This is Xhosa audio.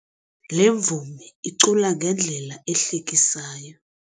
Le mvumi icula ngendlela ehlekisayo.